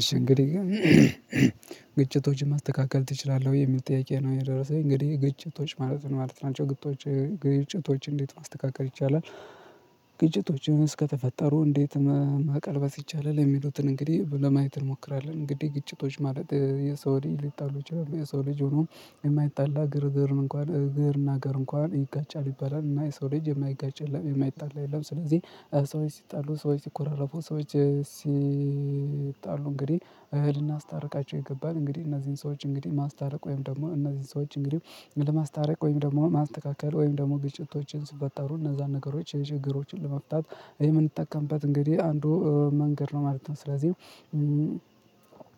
እሺ እንግዲህ ግጭቶችን ማስተካከል ትችላለህ? የሚል ጥያቄ የደረሰኝ እንግዲህ ግጭቶች ማለት ነው ማለት ናቸው ግጭቶች ግጭቶች እንዴት ማስተካከር ይቻላል? ግጭቶችስ ከተፈጠሩ እንዴት መቀልበስ ይቻላል? የሚሉትን እንግዲህ ለማየት እንሞክራለን እንግዲህ ግጭቶች ማለት የሰው ልጅ ሊጣሉ ይችላሉ የሰው ልጅ ሆኖ የማይጣላ ግርግር እንኳን እግር እና እግር እንኳን ይጋጫል ሊባል ይችላል እና የሰው ልጅ የማይጋጭ የማይጣላ የለም። ስለዚህ ሰዎች ሲጣሉ ሰዎች ሲኮራረፉ ሰዎች ሲጣሉ እንግዲህ ልናስታርቃቸው ይገባል እንግዲህ እነዚህን ሰዎች እንግዲህ ማስታረቅ ወይም ደግሞ እነዚህን ሰዎች እንግዲህ ለማስታረቅ ወይም ደግሞ ማስተካከል ወይም ደግሞ ግጭቶችን ሲፈጠሩ እነዛን ነገሮች የችግሮችን ለመፍታት የምንጠቀምበት እንግዲህ አንዱ መንገድ ነው ማለት ነው። ስለዚህ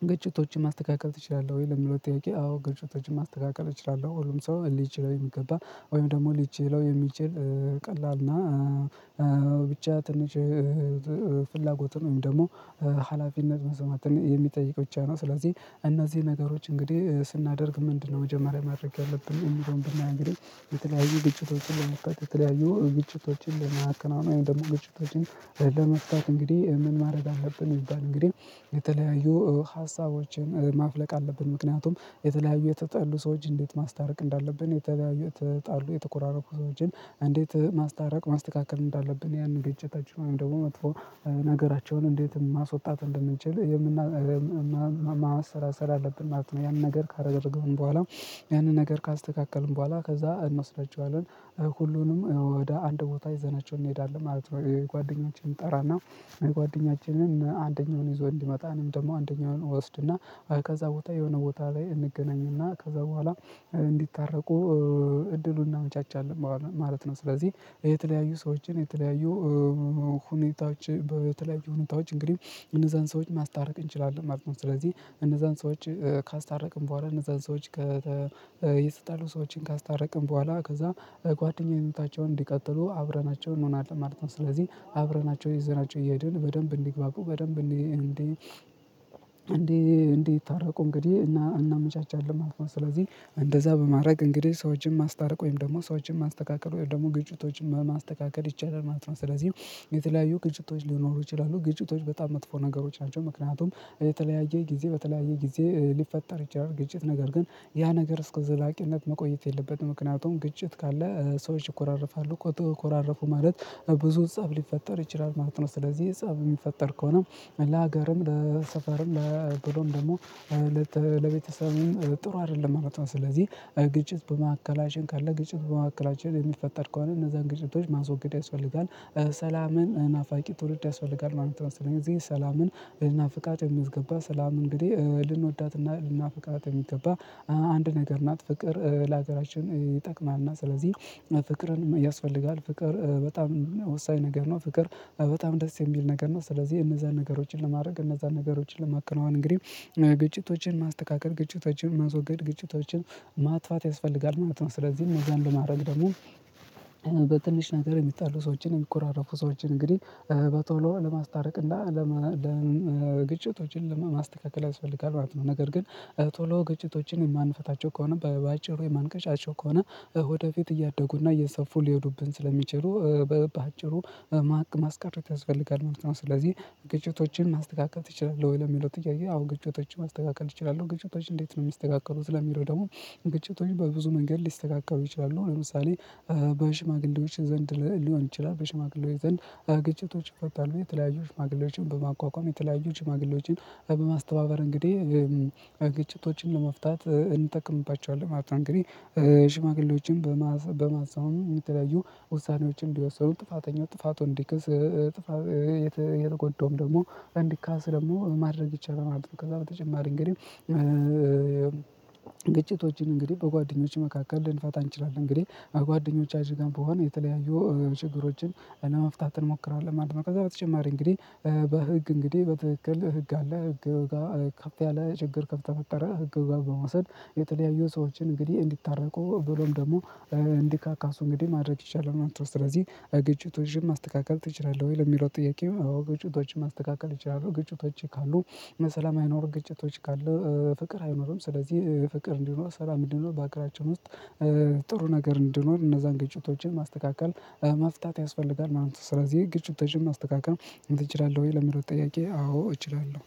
ግጭቶችን ማስተካከል ትችላለህ? ወይ ለሚለው ጥያቄ አዎ ግጭቶችችን ማስተካከል እችላለሁ ሁሉም ሰው ሊችለው የሚገባ ወይም ደግሞ ሊችለው የሚችል ቀላል እና ብቻ ትንሽ ፍላጎት ነው ደግሞ ሀላፊነት መስማት የሚጠይቅ ብቻ ነው። ስለዚህ እነዚህ ነገሮች እንግዲህ ስናደርግ ምንድነው መጀመሪያ ማድረግ ያለብን የሚለውን ብላ እንግዲህ የተለያዩ ግጭቶችን ለመጥቀስ የተለያዩ ግጭቶችን ለመከናወን ደግሞ ግጭቶችን ለመስጠት እንግዲህ ምን ማድረግ አለብን? ይባል እንግዲህ የተለያዩ ሀሳቦችን ማፍለቅ አለብን። ምክንያቱም የተለያዩ የጣጠሉ ሰዎች እንዴት ማስታረቅ እንዳለብን የተለያዩ ተጣሉ የተኮራረፉ ሰዎችን እንዴት ማስታረቅ ማስተካከል እንዳለብን ያንን ግጭታችን ወይም ደግሞ መጥፎ ነገራቸውን እንዴትም ማስወጣት እንደምንችል የምናስር ስራ ስራ አለብን ማለት ነው። ያንን ነገር ካረገብን በኋላ ያንን ነገር ካስተካከልን በኋላ ከዛ እንመክራቸዋለን ሁሉንም ወደ አንድ ቦታ ይዘናቸው እንሄዳለን ማለት ነው። ጓደኛችን እንጠራና ጓደኛችን አንደኛውን ይዞ እንዲመጣ እኔም ደግሞ አንደኛውን እወስድና ከዛ ቦታ የሆነ ቦታ ላይ እንገናኝና ከዛ በኋላ እንዲታረቁ እድሉን እናመቻቻለን ማለት ነው። ስለዚህ የተለያዩ ሰዎችን የተለያዩ ሁኔታዎች በተለያዩ ሁኔታዎች እንግዲህ እነዛን ሰዎች ማስታረቅ እንችላለን ማለት ነው። ስለዚህ እነዛን ሰዎች ካስታረቅን በኋላ እነዛን ሰዎች የተጣሉ ሰዎችን ካስታረቅን በኋላ ከዛ ጓደኛዬን እንታቸውን እንዲቀጥሉ አብረናቸው እንሆናለን ማለት ነው። ስለዚህ አብረናቸው ይዘናቸው እየሄድን በደንብ እንዲግባቡ በደንብ እንዲ እንዲ እንዲህ እንዲህ ይታረቁ እንግዲህ እናመቻቻለን ማለት ነው። ስለዚህ እንደዛ በማድረግ እንግዲህ ሰዎችን ማስታረቅ ወይም ደግሞ ሰዎችን ማስተካከል ወይም ደግሞ ግጭቶችን ማስተካከል ይቻላል ማለት ነው። ስለዚህ የተለያዩ ግጭቶች ሊኖሩ ይችላሉ ግጭቶች በጣም መጥፎ ነገሮች ናቸው ምክንያቱም የተለያየ ጊዜ በተለያየ ጊዜ ሊፈጠር ይችላል ግጭት ነገር ግን ያ ነገር እስከ ዘላቂነት መቆየት የለበትም። ምክንያቱም ግጭት ካለ ሰዎች ይኮራረፋሉ ሰዎች ተኮራረፉ ማለት ብዙ ፀብ ሊፈጠር ይችላል ማለት ነው። ስለዚህ ጻፍ የሚፈጠር ከሆነ ለሀገርም ለሰፈርም ብሎም ደግሞ ለቤተሰቡም ጥሩ አይደለም ማለት ነው። ስለዚህ ግጭት በመካከላችን ካለ ግጭት በመካከላችን የሚፈጠር ከሆነ እነዛን ግጭቶች ማስወገድ ያስፈልጋል ሰላምን ናፋቂ ትውልድ ያስፈልጋል ነው። የምትመስለኝ እዚህ ሰላምን ሊናፍቃት የሚያስገባ ሰላም እንግዲህ ልንወዳትና ልናፍቃት የሚገባ አንድ ነገር ናት ፍቅር ለሀገራችን ይጠቅማልና ስለዚህ ፍቅርን ያስፈልጋል ፍቅር በጣም ወሳኝ ነገር ነው። ፍቅር በጣም ደስ የሚል ነገር ነው። ስለዚህ እነዛን ነገሮችን ለማድረግ እነዛን ነገሮችን ለማከናወን እንግዲህ ግጭቶችን ማስተካከል ግጭቶችን ማስወገድ ግጭቶችን ማጥፋት ያስፈልጋል ማለት ስለዚህ ይህን ለማድረግ ደግሞ በትንሽ ነገር የሚጣሉ ሰዎችን የሚኮራረፉ ሰዎችን እንግዲህ በቶሎ ለማስታረቅ እና ግጭቶችን ለማስተካከል ያስፈልጋል ማለት ነው። ነገር ግን ቶሎ ግጭቶችን የማንፈታቸው ከሆነ በአጭሩ የማንቀጫቸው ከሆነ ወደፊት እያደጉና እየሰፉ ሊሄዱብን ስለሚችሉ በአጭሩ ማስቀረት ያስፈልጋል ማለት ነው። ስለዚህ ግጭቶችን ማስደጋገም ትችላለህ? ወይ ለሚለው ትያየህ አሁን ግጭቶችን ማስተካከል ትችላለህ ግጭቶች እንዴት ነው የሚስተካከሉት? ለሚለው ደግሞ ግጭቶች በብዙ መንገድ ሊስተካከሩ ይችላሉ ለምሳሌ በሽማግሌዎች ዘንድ ሊሆን ይችላል። በሽማግሌዎች ዘንድ ግጭቶች ይፈታሉ የተለያዩ ሽማግሌዎችን በማቋቋም የተለያዩ ሽማግሌዎችን በማስተባበር እንግዲህ ግጭቶችን ለመፍታት እንጠቅምባቸዋለን ማለት ነው። እንግዲህ ሽማግሌዎችን በማሳወኑ የተለያዩ ውሳኔዎችን እንዲወሰዱ ጥፋተኛው ጥፋቱን እንዲክስ ጥፋት የተጎዳውም ደግሞ እንዲካስ ደግሞ ማድረግ ይቻላል። ከዛ በተጨማሪ እንግዲህ ግጭቶችን እንግዲህ በጓደኞች መካከል ልንፋታ እንችላለን እንግዲህ ጓደኞቻችን ጋር በሆነ የተለያዩ ችግሮችን እና መፍታት እንሞክራለን ማለት ነው። ከዛ በተጨማሪ እንግዲህ በህግ እንግዲህ በትክክል ህግ አለ ህግ ጋር ከፍ ያለ ችግር ከፍ ከተፈጠረ ህግ ጋር በመውሰድ የተለያዩ ሰዎችን እንግዲህ እንዲታረቁ ብሎም ደግሞ እንዲካካሱ እንግዲህ ማድረግ ይቻላል። አንተ ስለዚህ ግጭት ወይም ማስተካከል ትችላለህ? ወይ ለሚለው ጥያቄ ግጭቶችን ማስተካከል እችላለሁ ግጭቶች ካሉ መሰላም አይኖሩ ግጭቶች ካሉ ፍቅር አይኖሩም። ስለዚህ ፍቅር እንዲኖር ስራ ምንድነው? በአገራችን ውስጥ ጥሩ ነገር እንዲሆን እነዛን ገጭቶችን ማስተካከል መፍታት ያስፈልጋል ማለት ነው። ስለዚህ ግጭቶችን ማስተካከል እችላለሁ ወይ ለሚለው ጥያቄ? አዎ እችላለሁ።